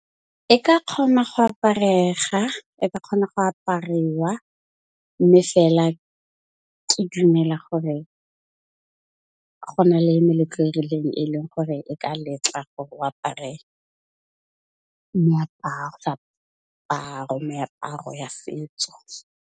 E ka kgona go aparega e ka kgona go apariwa, mme fela ke dumela gore go na le meletlo e rileng e leng gore e ka letla gore o apare, meaparo ya setso.